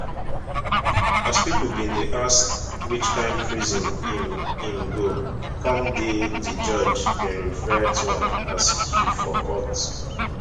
as pipo bin dey ask which kain prison im im go come dey di judge bin refer to am as he for court